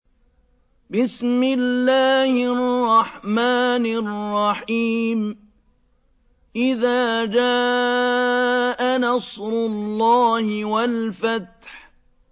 إِذَا جَاءَ نَصْرُ اللَّهِ وَالْفَتْحُ